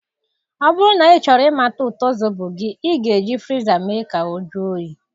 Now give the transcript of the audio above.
Ọ bụrụ na ịchọrọ imata ụtọ Zobo gị, ị ga-eji friza mee ka ọ jụọ oyi.